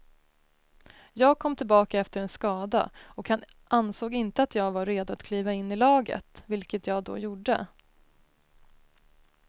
Jag kom tillbaka efter en skada och han ansåg inte att jag var redo att kliva in i laget, vilket jag då gjorde.